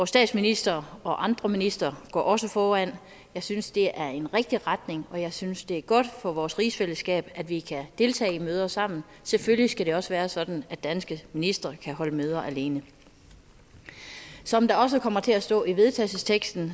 statsminister og andre ministre går også foran og jeg synes det er en rigtig retning og jeg synes det er godt for vores rigsfællesskab at vi kan deltage i møder sammen selvfølgelig skal det også være sådan at danske ministre kan holde møder alene som der også kommer til at stå i vedtagelsesteksten